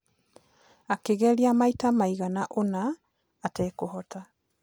Akĩgeria maita maigana ũna atekũhota.